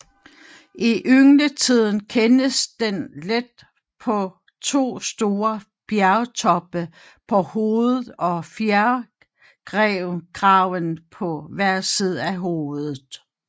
I yngletiden kendes den let på to store fjertoppe på hovedet og fjerkraven på hver side af hovedet